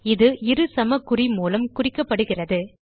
இது இரு சமக்குறி மூலம் குறிக்கப்படுகிறது